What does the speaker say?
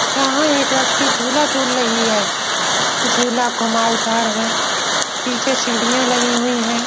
यहां एक लड़की झूला झूल रही है। झूला घुमाऊ दार है । पीछे सीढ़ियां लगी हुई हैं।